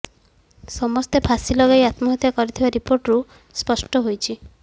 ସମସ୍ତେ ଫାଶୀ ଲଗାଇ ଆତ୍ମହତ୍ୟା କରିଥିବା ରିପୋର୍ଟରୁ ସ୍ପଷ୍ଟ ହୋଇଛି